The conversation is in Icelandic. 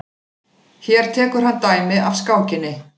Hér tekur hann dæmi af skákinni.